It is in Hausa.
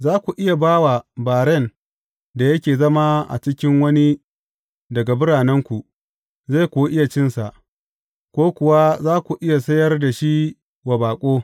Za ku iya ba wa baren da yake zama a cikin wani daga biranenku, zai kuwa iya cinsa, ko kuwa za ku iya sayar da shi wa baƙo.